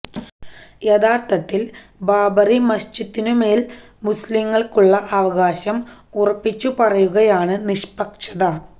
യഥാര്ത്ഥത്തില് ബാബരി മസ്ജിദിനു മേല് മുസ്ലിംകള്ക്കുള്ള അവകാശം ഉറപ്പിച്ചുപറയുന്നതാണ് നിഷ്പക്ഷത